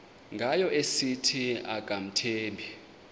ngayo esithi akamthembi